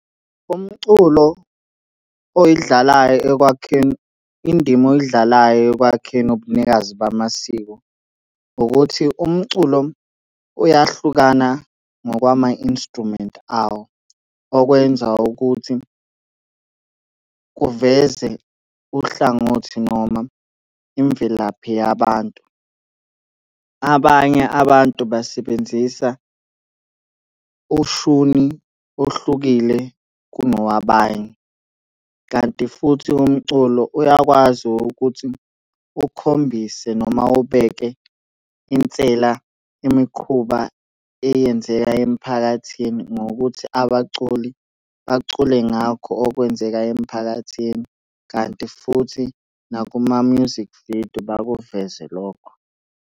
Umculo oyidlalayo ekwakheni, indima oyidlalayo ekwakheni ubunikazi bamasiko ukuthi umculo uyahlukana ngokwama-instrument awo. Okwenza ukuthi kuveze uhlangothi noma imvelaphi yabantu. Abanye abantu basebenzisa ushuni ohlukile kunowabanye, kanti futhi umculo uyakwazi ukuthi ukhombise noma ubeke insela imikhuba eyenzeka emiphakathi ngokuthi abaculi bacule ngakho okwenzeka emphakathini, kanti futhi nakuma-music video, bakuveze lokho.